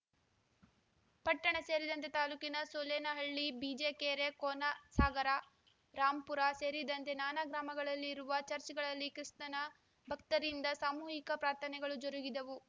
ಪಟ್ಟಣ ಸೇರಿದಂತೆ ತಾಲೂಕಿನ ಸೂಲೆನಹಳ್ಳಿ ಬಿಜಿಕೆರೆ ಕೋನಸಾಗರ ರಾಂಪುರ ಸೇರಿದಂತೆ ನಾನಾ ಗ್ರಾಮಗಳಲ್ಲಿರುವ ಚರ್ಚ್ ಗಳಲ್ಲಿ ಕ್ರಿಸ್ತನ ಭಕ್ತರಿಂದ ಸಾಮೂಹಿಕ ಪ್ರಾರ್ಥನೆಗಳು ಜರುಗಿದವು